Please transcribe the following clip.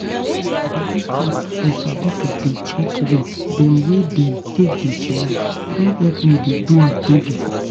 to dey use app you sabi to dey check way dem wey dem take dey chillax don help me dey do am teady.